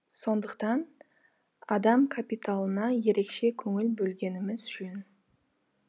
сондықтан адам капиталына ерекше көңіл бөлгеніміз жөн